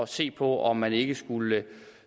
se på om man ikke skulle